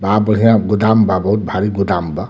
बाड़ा बढ़ियां गोदाम बा बहुत भारी गोदाम बा।